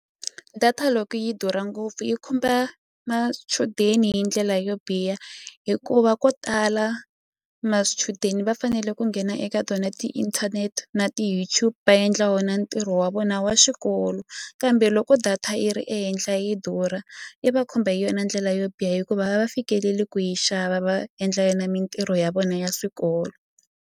Data loko yi durha ngopfu yi khumba machudeni hi ndlela yo biha hikuva ko tala va fanele ku nghena eka tona ti-internet na ti-YouTube endla wona ntirho wa vona wa xikolo kambe loko data yi ri ehenhla yi durha i va khumba hi yona ndlela yo biha hikuva a va fikeleli ku yi xava va endla yona mintirho ya vona ya swikolo.